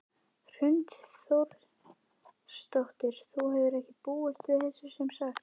Hrund Þórsdóttir: Þú hefur ekki búist við þessu sem sagt?